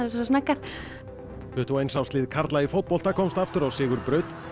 tuttugu og eins árs lið karla í fótbolta komst aftur á sigurbraut